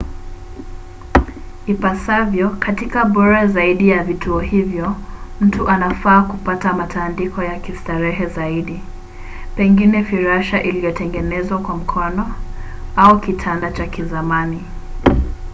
ipasavyo katika bora zaidi ya vituo hivyo mtu anafaa kupata matandiko ya kistarehe zaidi pengine firasha iliyotengenezwa kwa mkono au kitanda cha kizamani